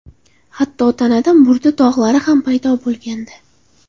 Hatto tanada murda dog‘lari ham paydo bo‘lgandi.